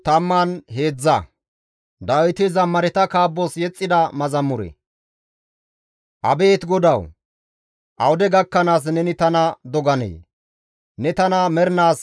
Abeet GODAWU! Awude gakkanaas neni tana doganee? Ne tana mernaas balanee? Awude gakkanaas neni taappe geemmanee?